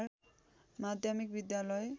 माध्यमिक विद्यालय